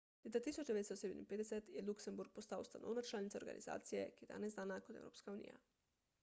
leta 1957 je luksemburg postal ustanovna članica organizacije ki je danes znana kot evropska unija